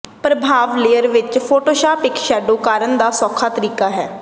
ਪਰਭਾਵ layer ਵਿੱਚ Photoshop ਇੱਕ shadow ਕਰਨ ਦਾ ਸੌਖਾ ਤਰੀਕਾ ਹੈ